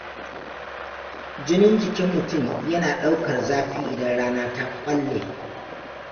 Jinin jikin mutum yana ɗaukar zafi idan rana ta ƙwalle.